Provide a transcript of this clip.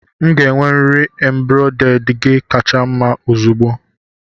M ga-enwerịrị embrade gi kacha mma ozugbo